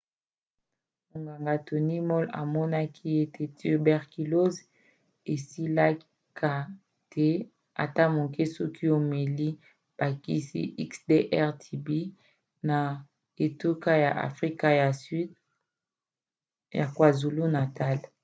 monganga tony moll amonaki ete tuberculose esilaka te ata moke soki omeli bakisi xdr-tb na etuka ya afrika ya sud ya kwazulu-natal